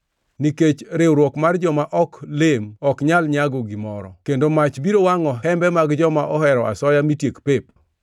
Nikech riwruok mar joma ok lem ok nyal nyago gimoro kendo mach biro wangʼo hembe mag joma ohero asoya mitiek pep.